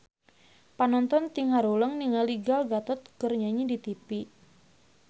Panonton ting haruleng ningali Gal Gadot keur nyanyi di tipi